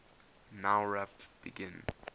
nowrap begin